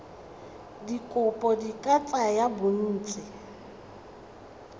dikopo di ka tsaya bontsi